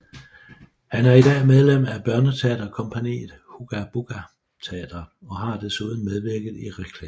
Han er i dag medlem af børneteaterkompagniet Hugga Bugga Teatret og har desuden medvirket i reklamefilm